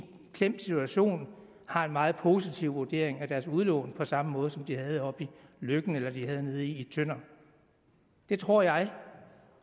klemt situation har en meget positiv vurdering af deres udlån på samme måde som de havde oppe i løkken eller nede i tønder det tror jeg